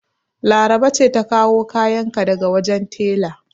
Laraba ce ta kawo kayan ka daga wajen tela.